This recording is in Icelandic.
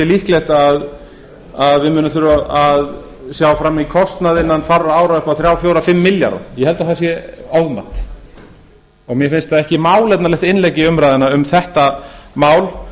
líklegt að við munum þurfa að sjá framan í kostnað innan fárra ára upp á þrjár fjóra fimm milljarða ég held að það sé ofmat mér finnst það ekki málefnalegt innlegg í umræðuna um þetta mál